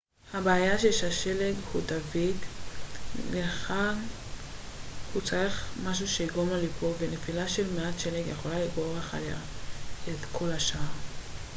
הבעיה היא ששלג הוא דביק לכן הוא צריך משהו שיגרום לו ליפול ונפילה של מעט שלג יכולה לגרור אחריה את כל השאר